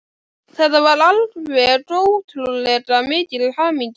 Þetta var alveg ótrúlega mikil hamingja.